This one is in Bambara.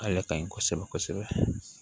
A yɛrɛ ka ɲi kosɛbɛ kosɛbɛ